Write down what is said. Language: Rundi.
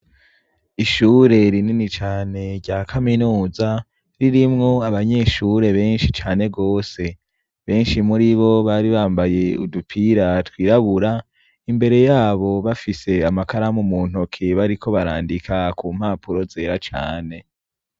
Ishure rinini cane rya kamenuza ririmwo abanyeshure benshi cane gose benshi muribo bari bambaye udupira twirabura imbere yabo bafise amakaramu muntoke bariko barandika kumpapuro zera cane.